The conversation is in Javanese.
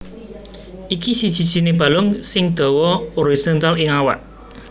Iki siji sijiné balung sing dawa horizontal ing awak